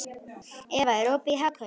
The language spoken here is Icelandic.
Eva, er opið í Hagkaup?